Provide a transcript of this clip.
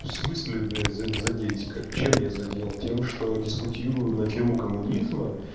в смысле блять задеть как чем я задел тем что дискутирую на тему коммунизма